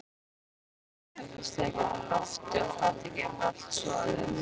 Grindin heldur steikinni á lofti og fatið geymir allt soðið.